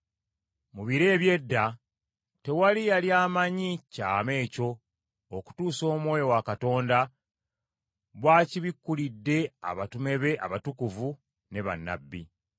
Mu biro eby’edda, tewali yali amanyi kyama ekyo okutuusa Omwoyo wa Katonda bw’akibikkulidde abatume be abatukuvu ne bannabbi.